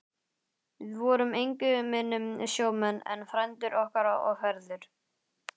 Við vorum engu minni sjómenn en frændur okkar og feður.